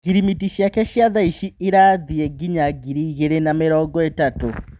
Ngirimiti ciake cia thaici ĩrathiĩ nginya ngiri igĩrĩ na mĩrongoĩtatu.